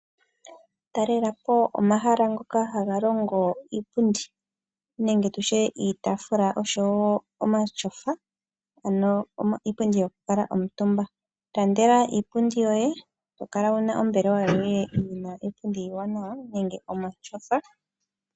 Talelapo omahala ngoka haga longo iipundi, nenge tutye iitaafula oshowo omatyofa, ano iipundi yoku kaantumba. Ilandela iipundi yoye eto kala wuna ombelewa yoye yina iipundi iiwanawa nenge omatyofa.